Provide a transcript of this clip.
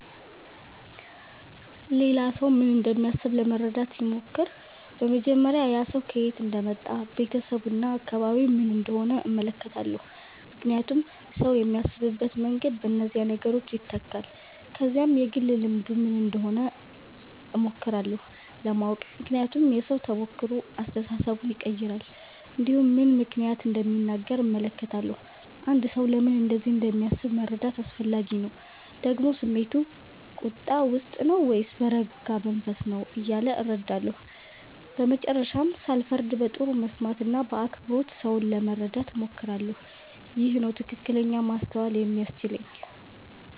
ሌላ ሰው ምን እንደሚያስብ ለመረዳት ሲሞክር በመጀመሪያ ያ ሰው ከየት እንደመጣ ቤተሰቡ እና አካባቢው ምን እንደሆነ እመለከታለሁ ምክንያቱም ሰው የሚያስብበት መንገድ በእነዚህ ነገሮች ይተካል ከዚያም የግል ልምዱ ምን እንደሆነ እሞክራለሁ ለማወቅ ምክንያቱም የሰው ተሞክሮ አስተሳሰቡን ይቀይራል እንዲሁም ምን ምክንያት እንደሚናገር እመለከታለሁ አንድ ሰው ለምን እንደዚህ እንደሚያስብ መረዳት አስፈላጊ ነው ደግሞ ስሜቱ ቁጣ ውስጥ ነው ወይስ በረጋ መንፈስ ነው እያለ እረዳለሁ በመጨረሻም ሳልፈርድ በጥሩ መስማት እና በአክብሮት ሰውን ለመረዳት እሞክራለሁ ይህ ነው ትክክለኛ ማስተዋል የሚያስችለኝ